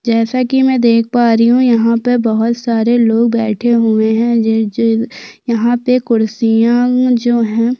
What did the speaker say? जैसा की में देख पा रही हु यहाँ पे बहुत सारे लोग बैठे हुहे है जे जो यहाँ पे कुर्सीया जो हैं।